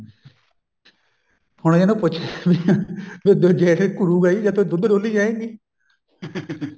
ਹੁਣ ਇਹਨੂੰ ਪੁੱਛ ਵੀ ਜੇਠ ਘੁਰੁਗਾ ਹੀ ਜੇ ਤੂੰ ਦੁੱਧ ਡੋਲੀ ਜਾਏਗੀ